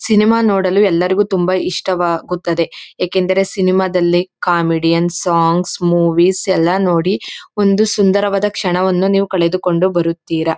Cinema ನೋಡಲು ಎಲ್ಲರಗೂ ತುಂಬಾ ಇಷ್ಟವಾಗುತ್ತದೆ ಏಕೆಂದರೆ ಸಿನಿಮಾದಲ್ಲಿ ಕಾಮೆಡಿಯನ್ಸ್ ಸಾಂಗ್ಸ್ ಮೂವೀಸ್ ಎಲ್ಲಾ ನೋಡಿ ಒಂದು ಸುಂದವಾದ ಕ್ಷಣವನ್ನು ನೀವು ಕಳೆದುಕೊಂಡು ಬರುತ್ತೀರಾ.